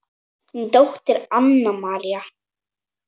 Þín dóttir Anna María.